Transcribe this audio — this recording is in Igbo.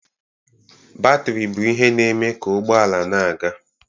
Batrị bụ ihe na-eme ka ụgbọ ala na-aga.